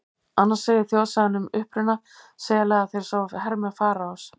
Annars segir þjóðsagan um uppruna sela að þeir séu hermenn Faraós.